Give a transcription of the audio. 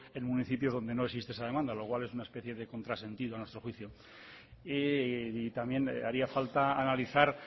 en municipios donde no existe esa demanda lo cual es una especie de contrasentido a nuestro juicio también haría falta analizar